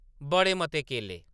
बड़े मते केले